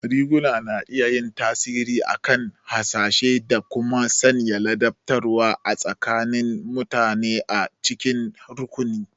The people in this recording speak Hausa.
Riguna na iya yin tasiri akan hasashe da kuma sanya ladabtarwa tsakanin mutane a cikin rukuni.